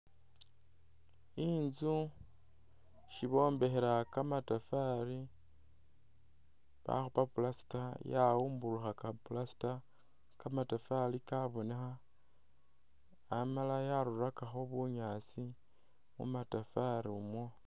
Inzu isibombekhela kamatafari bakhupa plaster yawubulukhaka plaster kamatafari kabonekha amala yarulakakho bunyasi mumatafari umwo.